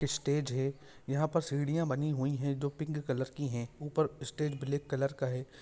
Stage है यहाँ पर सीढ़िया बनी हुई है जो पिंक कलर की है ऊपर स्टेज ब्लैक कलर का है।